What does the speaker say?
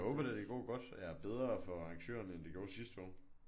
Jeg håber da det går godt ja bedre for arrangørerne end det gjorde sidste år